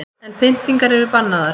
En pyntingar eru bannaðar